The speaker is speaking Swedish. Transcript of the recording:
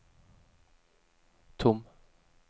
tom